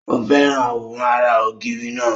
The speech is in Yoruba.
Ó fẹ́ràn àwòrán ara ògiri náà.